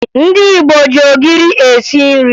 Ndị Igbo ji ogiri esi nri